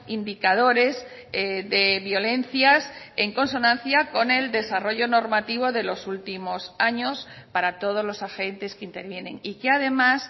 indicadores de violencias en consonancia con el desarrollo normativo de los últimos años para todos los agentes que intervienen y que además